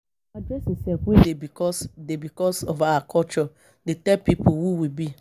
Our dressing sef wey dey becos, dey becos of our culture dey tell pipo who we be.